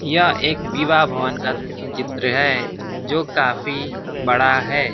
यह एक विवाह भवन का चित्र है जो काफी बड़ा है।